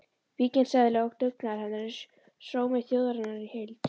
Víkingseðli og dugnaður hennar er sómi þjóðarinnar í heild.